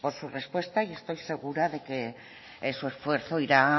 su respuesta y estoy segura de que su esfuerzo irá